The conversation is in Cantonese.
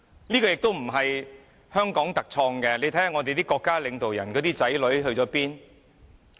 這情況不是香港特有的，你看看我們國家領導人的子女去了哪裏？